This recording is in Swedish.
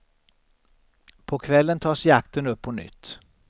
På kvällen tas jakten upp på nytt.